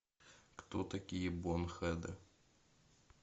кто такие бонхеды